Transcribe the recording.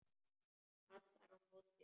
Kallar á móti.